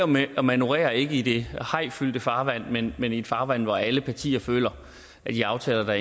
med at manøvrere ikke i det hajfyldte farvand men i et farvand hvor alle partier føler at de aftaler